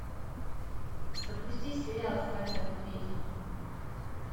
запусти сериал страна медведей